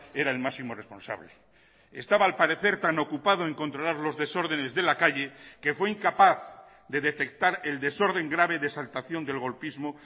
era el máximo responsable estaba al parecer tan ocupado en controlar los desórdenes de la calle que fue incapaz de detectar el desorden grave de exaltación del golpismo